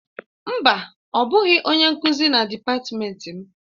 Mba, ọ bụghị onye nkuzi na dịpatmenti m.